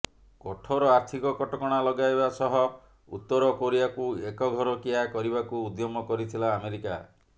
କଠୋର ଆର୍ଥିକ କଟକଣା ଲଗାଇବା ସହ ଉତର କୋରିଆକୁ ଏକଘରିକିଆ କରିବାକୁ ଉଦ୍ୟମ କରିଥିଲା ଆମେରିକା